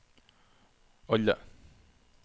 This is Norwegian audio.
alle